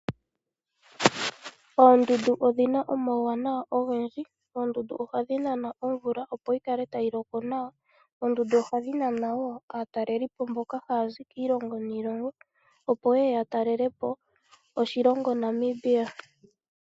Ooondundu odhina omauwanawa ogendji. Oondundu ohadhi nana omvula opo yi kale tayi loko nawa. Oondundu ohadhi nana woo aatalelipo mboka haya zi kiilongo niilongo, opo yeye ya talelepo oshilongo Namibia.